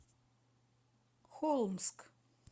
холмск